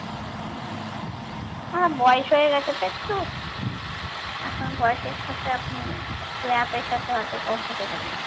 অ্যাঁ বয়স হয়ে গেছে তো একটু এখন বয়সের সাথে আপনি একটু app এর সাথে অত comfortable না